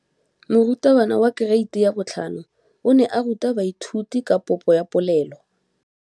Moratabana wa kereiti ya 5 o ne a ruta baithuti ka popô ya polelô.